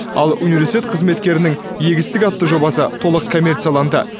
ал университет қызметкерінің егістік атты жобасы толық коммерцияланды